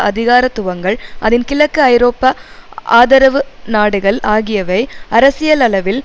அதிகாரத்துவங்கள் அதன் கிழக்கு ஐரோப்பிய ஆதரவு நாடுகள் ஆகியவை அரசியலளவில்